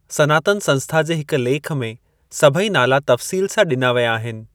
सनातन संस्था जे हिकु लेखु में सभई नाला तफ़सीलु सां डि॒ना विया आहिनि।